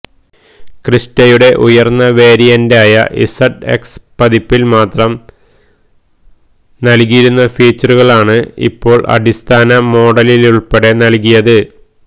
ക്രിസ്റ്റയുടെ ഉയര്ന്ന വേരിയന്റായ ഇസഡ്എക്സ് പതിപ്പില് മാത്രം നല്കിയിരുന്ന ഫീച്ചറുകളണ് ഇപ്പോള് അടിസ്ഥാന മോഡലിലുള്പ്പെടെ നല്കിയത്